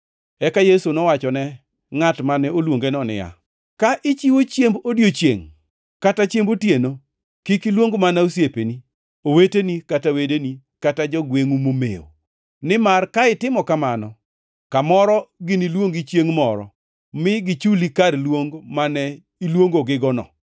Eka Yesu nowachone ngʼat mane oluongeno niya, “Ka ichiwo chiemb odiechiengʼ kata chiemb otieno, kik iluong mana osiepeni, oweteni kata wedeni, kata jogwengʼu momew, nimar ka itimo kamano, kamoro giniluongi chiengʼ moro, mi gichuli kar luong mane iluongigono.